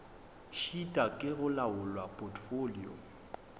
šitwa ke go laola potfolio